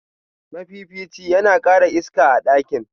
mafifici yana kara iska a ɗakin.